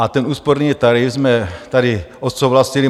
A ten úsporný tarif jsme tady odsouhlasili.